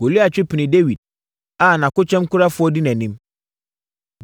Goliat twe pinii Dawid a nʼakokyɛmkurafoɔ di nʼanim.